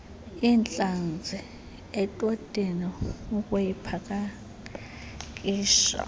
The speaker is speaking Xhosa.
intlanzi etotini ukuyipakisha